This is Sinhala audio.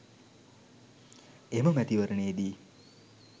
එම මැතිවරණයේදී